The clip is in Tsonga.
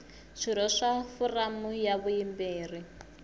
swirho swa foramu ya vuyimeri